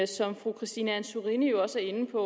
som fru christine antorini jo også er inde på